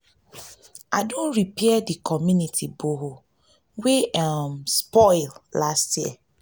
i don repair di community borehole wey um spoil last year.